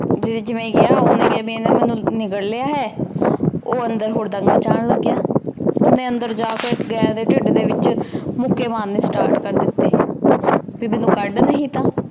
ਭੀ ਜਿਵੇਂ ਗਯਾ ਓਹਨੇ ਕੇਹਾ ਭੀ ਏਨੇ ਮੇਨੂ ਨਿਗਲ ਲਾਯਾ ਹੈ ਊ ਅੰਦਰ ਹੁਰ੍ਦ੍ਮ ਮਚਾਨ ਲਾਗ ਗਯਾ ਓਹਨੇ ਅੰਦਰ ਜੇ ਕੇ ਗਾਇਨ ਦੇ ਟੇਡ ਡੀ ਵਿਚ ਮੁੱਕੀ ਮਾਰਨੀ ਸਟਾਰਟ ਕਰ ਦਿਤੀ ਤੇ ਜਦੋਂ